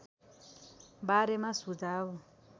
बारेमा सुझाव